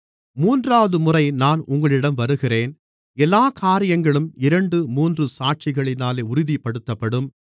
மூன்றாவதுமுறை நான் உங்களிடம் வருகிறேன் எல்லாக் காரியங்களும் இரண்டு மூன்று சாட்சிகளினாலே உறுதிப்படுத்தப்படும்